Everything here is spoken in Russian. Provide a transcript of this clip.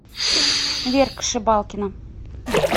верка шибалкина